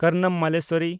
Karnam Malleswari